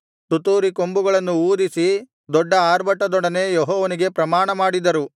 ತುತ್ತೂರಿ ಕೊಂಬುಗಳನ್ನೂ ಊದಿಸಿ ದೊಡ್ಡ ಅರ್ಭಟದೊಡನೆ ಯೆಹೋವನಿಗೆ ಪ್ರಮಾಣಮಾಡಿದರು